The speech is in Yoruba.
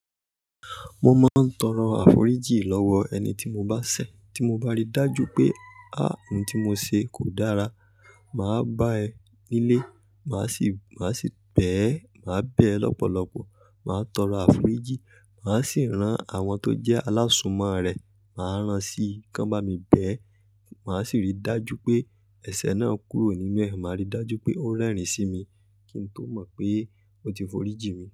Mo máa ń tọrọ àforíjì lọ́wọ ẹni tí mo bá ṣẹ̀, tí mo bá rí dájú pé á, ohun tí mo ṣe, kò dára. Máa bá ẹ nílé, màá sì, màá sì bẹ́ ẹ, màá bẹ́ ẹ lọ́pọ̀lọpọ̀, màá tọrọ àforíjì. Màá sì rán àwọn tó jẹ́ alásùnmọ̀ rẹ̀, màá rán sí, kan bá mi bẹ́ ẹ. Màá sì rí dájú pé ẹ̀ṣẹ̀ náà kúrò nínú ẹ̀. Màá rí dájú pé ó rẹ́rìn sí mi kí n tó mọ̀ pé ó ti foríji mi.